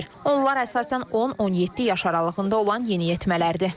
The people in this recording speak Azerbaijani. Onlar əsasən 10-17 yaş aralığında olan yeniyetmələrdir.